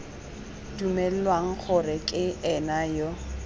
dumelwang gore ke ena yo